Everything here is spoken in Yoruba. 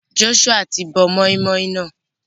Joshua ti bọ moin-moin náà.